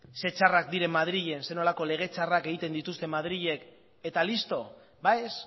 ze txarrak diren madrilen zer nolako lege txarrak egiten dituzten madrilen eta listo ba ez